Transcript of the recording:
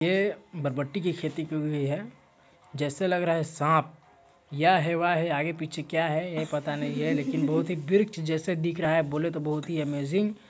ये बरबट्टी की खेती की हुई है जैसे लग रहा है सांप य है व् है आगे पीछे क्या है यह पता नहीं है लेकिन बहुत ही वृक्ष जैसे दिख रहा है बोले तो बहुत ही अमेजिंग --